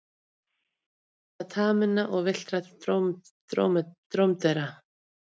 Útbreiðsla taminna og villtra drómedara.